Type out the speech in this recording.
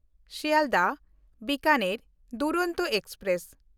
ᱥᱤᱞᱰᱟᱦ–ᱵᱤᱠᱟᱱᱮᱨ ᱰᱩᱨᱚᱱᱛᱚ express